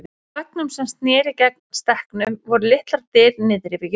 Á veggnum sem sneri gegnt stekknum voru litlar dyr niðri við jörð.